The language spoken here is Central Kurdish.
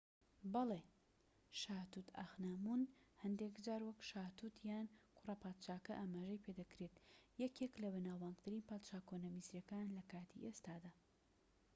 بەڵێ شا توت ئانخامون هەندێك جار وەک شا توت یان کوڕە پادشاکە ئاماژەی پێدەکرێت یەکێکە لە بەناوبانگترین پادشا کۆنە میسریەکان لە کاتی ئێستادا